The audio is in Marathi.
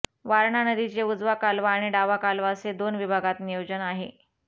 वारणा नदीचे उजवा कालवा आणि डावा कालवा असे दोन विभागात नियोजन आहे